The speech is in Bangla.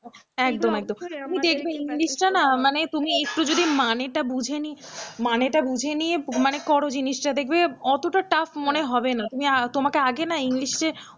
একদম একদম তুমি দেখবে english টা না মানে তুমি একটু যদি মানে টা বুঝে নিয়ে মানেটা বুঝে নিয়ে মানে করো জিনিসটা দেখবে অতটা tough মনে হবে না তোমাকে আগে না english